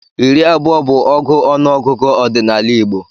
Iri abụọ bụ ọgụ n'ọnụọgụgụ ọdịnala Igbo.